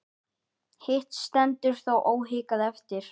Hitt stendur þó óhikað eftir.